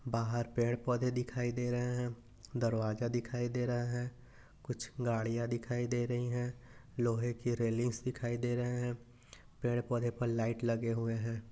बाहर पेड़ पौधे दिखाई दे रहैं हैं दरवाजा दिखाई दे रहा है कुछ गड़िया दिखाई दे रही हैं लोहे की रेलिंग्स दिखाई दे रही हैं पेड़ पौधे पर लाइट लगे हुए हैं।